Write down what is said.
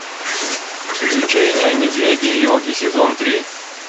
приключения медведя йоги сезон три